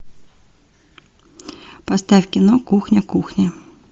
поставь кино кухня кухня